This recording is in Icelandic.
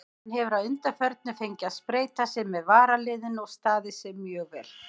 Hann hefur að undanförnu fengið að spreyta sig með varaliðinu og staðið sig mjög vel.